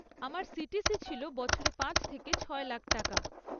আমার সিটিসি ছিল বছরে পাঁচ থেকে ছয় লাখ টাকা।